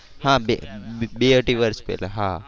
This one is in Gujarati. હા બે બે અઢી વર્ષ પહેલા.